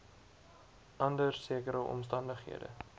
onder sekere omstandighede